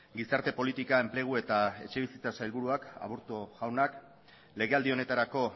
gizarte politika enplegu eta etxebizitza sailburua aburto jaunak legealdi honetarako